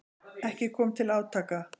Ekki kom til átaka.